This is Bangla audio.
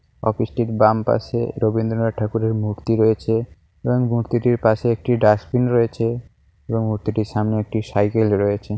অফিস -টির বাম পাশে রবীন্দ্রনাথ ঠাকুরের মূর্তি রয়েছে এবং মূর্তিটির পাশে একটি ডাস্টবিন রয়েছে এবং মূর্তিটির সামনে একটি সাইকেল রয়েছে।